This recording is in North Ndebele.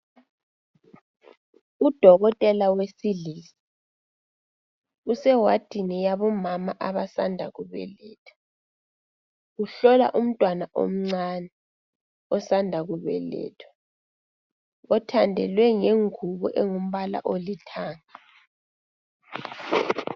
Udokotela wesilisa usewadini yabomama abasanda kubeletha. Uhlola umntwana omncane, osanda kubelethwa. Othandelwe ngenguwo engimbala olithanga.